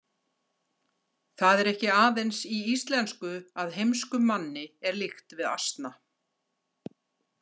Það er ekki aðeins í íslensku að heimskum manni er líkt við asna.